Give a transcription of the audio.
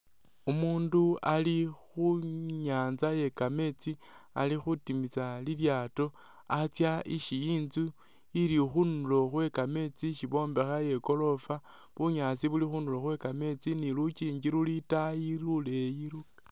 Umundu Ali khu'nyanza ye kameetsi Ali khutimisa lilyato Atsa isi intzu ili khundulo khwe kameetsi ishi bombekha iye goorofa, bunyaasi buli khundulo khwe kameetsi ni lukyinji luli itaayi luleyi